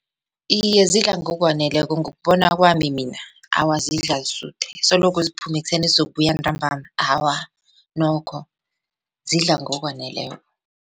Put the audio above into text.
Iye, zidla ngokwaneleko ngokubona kwami mina awa zidlala zisuthe soloko ziphume ekuseni zizokubuya ntambama awa nokho zidla ngokwaneleko.